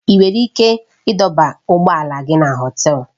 Ị nwere ike ịdọba ụgbọ ala gị na Họtelu